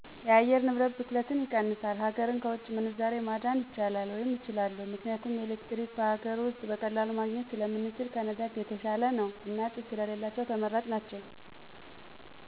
የአየር ንብረት ብክለትን ይቀንሳል፣ ሀገርን ከውጭ ምንዛሬ ማዳን ይቻላል ወይም እችላለሁ። ምክንያቱም ኤሌክትሪክ በሀገር ውስጥ በቀላሉ ማግኜት ስለምንችል ከነዳጅ የተሻለ ነው። እና ጭስ ስለሌላቸው ተመራጭ ናቸው።